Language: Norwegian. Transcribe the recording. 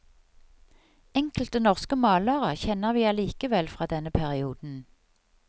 Enkelte norske malere kjenner vi allikevel fra denne perioden.